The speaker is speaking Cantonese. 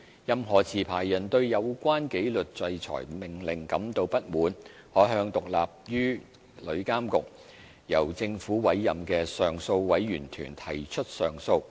任何持牌人對有關紀律制裁命令感到不滿，可向獨立於旅監局、由政府委任的上訴委員團提出上訴。